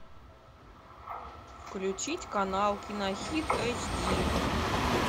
включить канал кинохит эйч ди